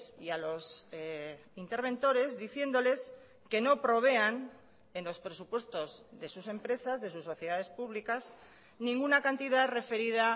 y a los interventores diciéndoles que no provean en los presupuestos de sus empresas de sus sociedades públicas ninguna cantidad referida